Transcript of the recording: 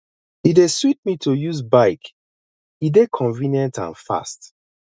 e dey sweet me to use bike e dey convenient and fast